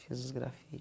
Fiz uns